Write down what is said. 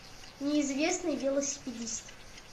неизвестный велосипедист